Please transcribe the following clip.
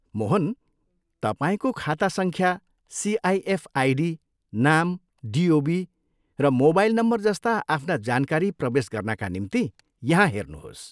मोहन, तपाईँको खाता सङ्ख्या, सिआइएफ आइडी, नाम, डिओबी र मोबाइल नम्बरजस्ता आफ्ना जानकारी प्रवेश गर्नाका निम्ति यहाँ हेर्नुहोस्।